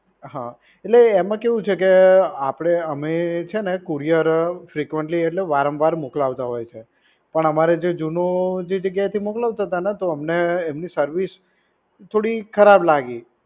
હા એટલે એમા કેવુ છે કે આપડે અમે છે ને કુરિયર ફ્રેકઉએન્ટલી એટલે વારંવાર મોકલાવતા હોય છે પણ અમારે જે જુનું જે જગ્યાએથી મોકલાવતાતા ને તો અમને એમની સર્વિસ થોડી ખરાબ લાગી